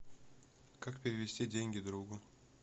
как перевести деньги другу